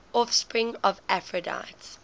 offspring of aphrodite